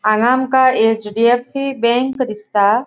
हांगा आमका HDFC. Bank दिसता.